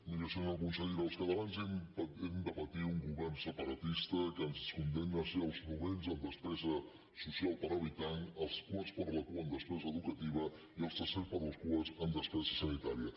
miri senyora consellera els catalans hem de patir un govern separatista que ens condemna a ser els novens en despesa social per habitant els quarts per la cua en despesa educativa i els tercers per la cua en despesa sanitària